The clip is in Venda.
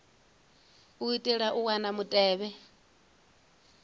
u itela u wana mutevhe